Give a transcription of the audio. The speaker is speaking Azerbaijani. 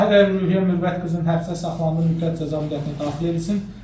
Tahirova Ruhiyyə Mürvət qızının həbsdə saxlandığı müddət cəza müddətinə daxil edilsin.